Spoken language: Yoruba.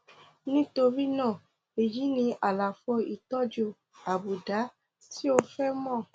nítorí náà èyí ni àlàfo ìtọjú àbùdá tí o fẹ mọ